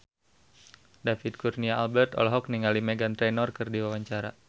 David Kurnia Albert olohok ningali Meghan Trainor keur diwawancara